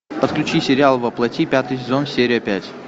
подключи сериал во плоти пятый сезон серия пять